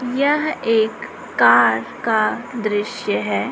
यह एक कार का दृश्य है।